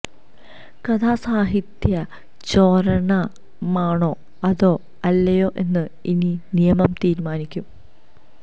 കഥ സാഹിത്യ ചോരണമാണോ അതോ അല്ലയോ എന്ന് ഇനി നിയമം തീരുമാനിക്കും